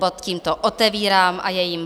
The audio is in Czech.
Bod tímto otevírám a je jím